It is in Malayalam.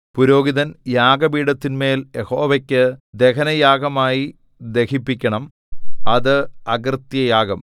പുരോഹിതൻ യാഗപീഠത്തിന്മേൽ യഹോവയ്ക്കു ദഹനയാഗമായി ദഹിപ്പിക്കണം അത് അകൃത്യയാഗം